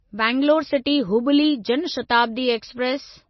Bangalore city Hubli Jan Shatabdi express